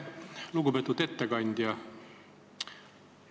Lugupeetud ettekandja!